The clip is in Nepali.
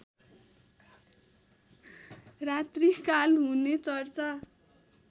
रात्रिकाल हुने चर्चा